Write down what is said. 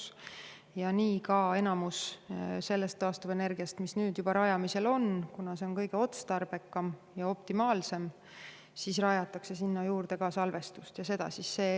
Seetõttu ongi nii, et neile taastuvenergia, mis nüüd juba rajamisel on, kuna see on kõige otstarbekam ja optimaalsem, pannakse juurde ka salvestus.